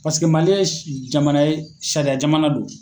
Paseke Mali ye jamana ye sariya jamana do.